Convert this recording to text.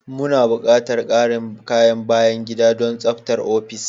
Muna buƙatar ƙarin kayan bayan gida don tsabtar ofis.